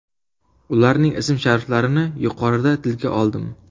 Ularning ism-shariflarini yuqorida tilga oldim.